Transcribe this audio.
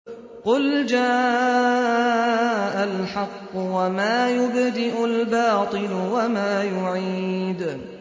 قُلْ جَاءَ الْحَقُّ وَمَا يُبْدِئُ الْبَاطِلُ وَمَا يُعِيدُ